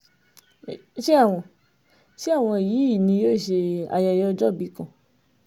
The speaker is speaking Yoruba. ṣé àwọn ṣé àwọn yìí ni yóò ṣe ayẹyẹ ọjọ́òbí kan